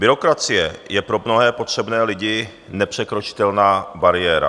Byrokracie je pro mnohé potřebné lidi nepřekročitelná bariéra.